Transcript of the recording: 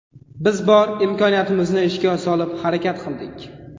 Biz bor imkoniyatimizni ishga solib harakat qildik.